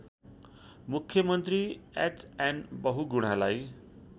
मुख्यमन्त्री एचएन बहुगुणालाई